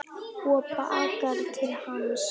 Og bakkar til hans.